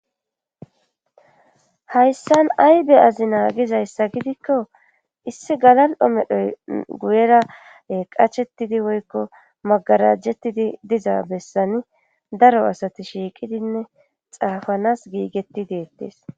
hayssan ay be'azi naagizayssa gidikko issi galal7o medhoy guyera qachetidi woykko magarajjettidi diza bessani daro asati shiiqidinne xaafanas giigetti deettees